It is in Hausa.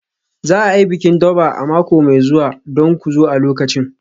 Za a yi bikin Durbar a mako mai zuwa don ku zo a lokacin.